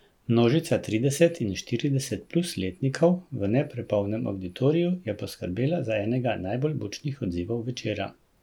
Množica trideset in štirideset plus letnikov v ne prepolnem avditoriju je poskrbela za enega najbolj bučnih odzivov večera.